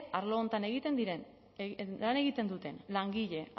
arlo honetan lan egiten duten langile